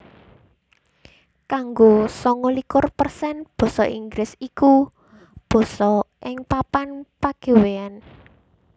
Kanggo sanga likur persen basa Inggris iku basa ing papan pagawéyan